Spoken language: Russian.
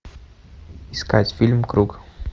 искать фильм круг